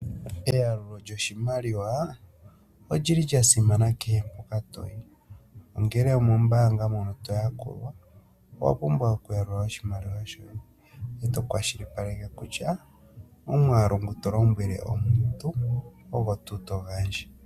Eyalulo lyoshimaliwa, olyili lya simana kehe mpoka to yi , ongele omombaanga mono to yakulwa, owa pumbwa oku yalula oshimaliwa shoye e tokwashilipaleke kutya omwaalu ngu tolombwele omuntu ogo tuu to gandja.